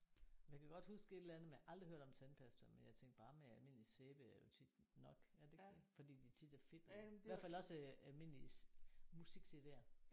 Men jeg kan godt huske et eller andet men jeg har aldrig hørt om tandpasta men jeg tænkte bare med almindelig sæbe er jo tit nok. Er det ikke det? Fordi de tit er fedtede. I hvert fald også øh almindelige musik-CD'er